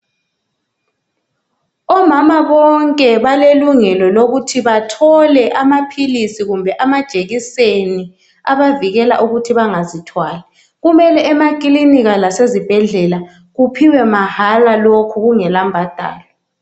Omama bonke balelungelo lokuthi bathole amaphilisi kumbe amajekiseni abavikela ukuthi bangazithwali kumele emakilinika lasezibhedlela kuphiwe mahala lokhu kungela mbadalo.